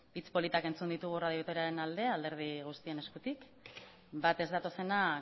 hitz politak entzun ditugu radio vitoriaren alde alderdi guztien eskutik bat ez datozenak